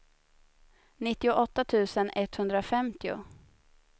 nittioåtta tusen etthundrafemtio